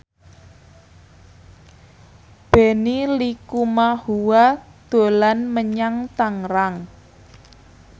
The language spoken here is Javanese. Benny Likumahua dolan menyang Tangerang